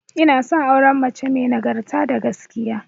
Ina son auren mace may nagarta da gaskiya